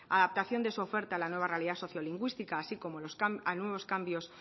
adaptación de su oferta a la nueva realidad sociolingüística así como a nuevos cambios